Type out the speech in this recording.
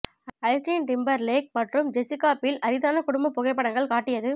Justin Timberlake மற்றும் Jessica Biel அரிதான குடும்ப புகைப்படங்கள் காட்டியது